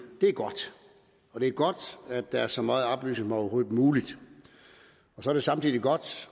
er godt og det er godt at der er så meget oplysning som overhovedet muligt så er det samtidig godt